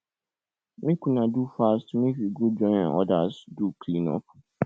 make una do fast make we go join others do clean up